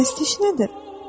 Pərəstiş nədir?